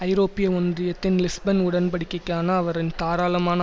ஐரோப்பிய ஒன்றியத்தின் லிஸ்பென் உடன்படிக்கைக்கான அவரின் தாராளமான